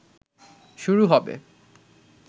শুরু হবে